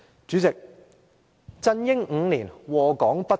主席，"振英5年，禍港不斷"。